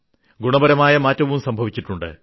ഗുണപരമായ മാറ്റവും സംഭവിച്ചിട്ടുണ്ട്